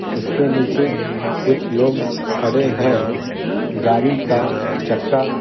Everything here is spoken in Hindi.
उसके नीचे कुछ लोग खड़े हैं गाड़ी का चक्का --